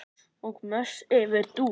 Og mest yfir Dúu.